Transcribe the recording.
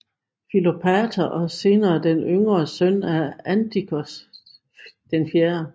Filopator og senere af den yngre søn Antiochos 4